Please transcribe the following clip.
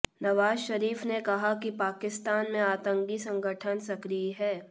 नवाज शरीफ ने कहा कि पाकिस्तान में आतंकी संगठन सक्रिय है